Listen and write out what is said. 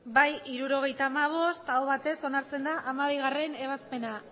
bai hirurogeita hamabost eta aho batez onartzen da hamabigarrena